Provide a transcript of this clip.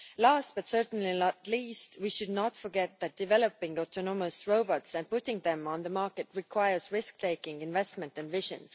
Last but certainly not least, we should not forget that developing autonomous robots and putting them on the market requires risk taking investment and vision.